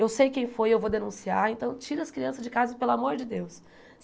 Eu sei quem foi, eu vou denunciar, então tira as crianças de casa, pelo amor de Deus.